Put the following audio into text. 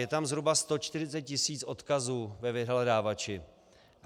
Je tam zhruba 140 tisíc odkazů ve vyhledávači.